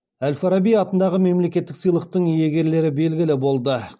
әл фараби атындағы мемлекеттік сыйлықтың иегерлері белгілі болды